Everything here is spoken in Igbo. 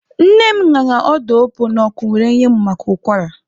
Nne m ñara ọda opuo n'ọkụ were nye mụ maka ụkwara.